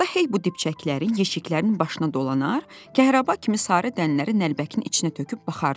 Ata hey bu dibçəkləri yeşiklərin başına dolanar, kəhrəba kimi sarı dənələri nəlbəkin içinə töküb baxardı.